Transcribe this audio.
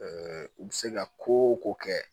u bɛ se ka ko o ko kɛ